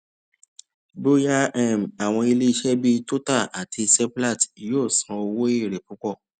bóyá um àwọn ileise bí total àti seplat yóò san owo ere pupo